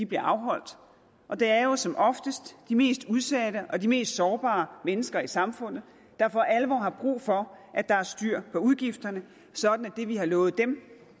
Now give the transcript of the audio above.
bliver afholdt og det er jo som oftest de mest udsatte og de mest sårbare mennesker i samfundet der for alvor har brug for at der er styr på udgifterne sådan at det vi har lovet dem